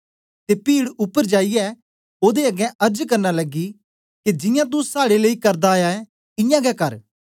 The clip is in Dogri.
ते पीड उपर जाईयै ओदे अगें अर्ज करन लगी के जियां तू साड़े लेई करदा आया ऐ इयां गै कर